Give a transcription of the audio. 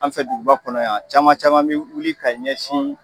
An fɛ duguba kɔnɔ yan caman caman bɛ wuli ka ɲɛsin